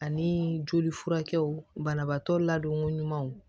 Ani joli furakɛw banabaatɔ ladonko ɲumanw